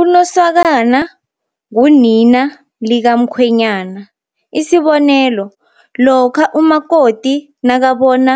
Unosakana ngunina likamkhwenyana. Isibonelo, lokha umakoti nakabona